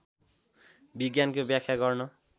विज्ञानको व्याख्या गर्न